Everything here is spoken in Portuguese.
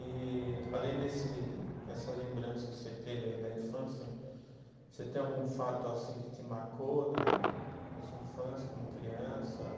E além desse dessa lembrança que você teve aí da infância, você tem algum fato assim que te marcou na na, na sua infância como criança?